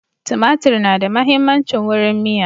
Tumatir na da muhimmancin wurin miya